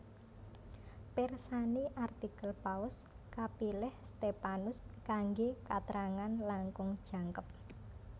Pirsani artikel Paus kapilih Stephanus kanggé katrangan langkung jangkep